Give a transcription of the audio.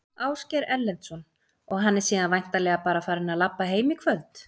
Ásgeir Erlendsson: Og hann er síðan væntanlega bara farinn að labba heim í kvöld?